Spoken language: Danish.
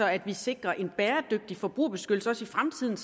at vi sikrer en bæredygtig forbrugerbeskyttelse også i fremtiden